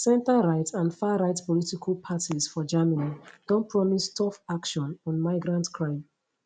centreright and farright political parties for germany don promise tough action on migrant crime